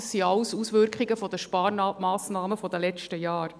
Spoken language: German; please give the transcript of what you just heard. Dies sind alles Auswirkungen der Sparmassnahmen der letzten Jahre.